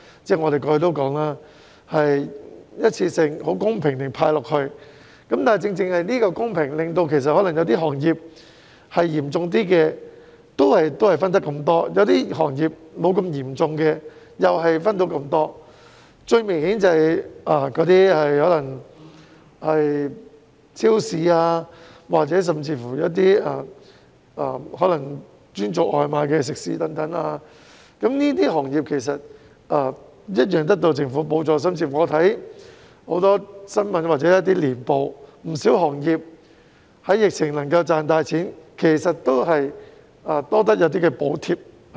最明顯的例子是超市和專做外賣的食肆等，這些行業一樣得到政府補助。另外，我看很多新聞或年報，不少行業在疫情下仍能賺大錢，其實都是多得這些補貼。